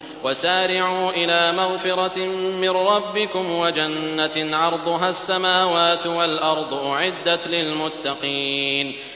۞ وَسَارِعُوا إِلَىٰ مَغْفِرَةٍ مِّن رَّبِّكُمْ وَجَنَّةٍ عَرْضُهَا السَّمَاوَاتُ وَالْأَرْضُ أُعِدَّتْ لِلْمُتَّقِينَ